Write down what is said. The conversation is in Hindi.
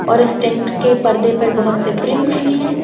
और इस टेंट के परदे पर बहुत से प्रिंट्स भी है।